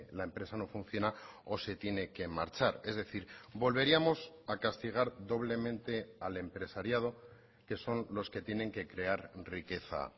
la empresa no funciona o se tiene que marchar es decir volveríamos a castigar doblemente al empresariado que son los que tienen que crear riqueza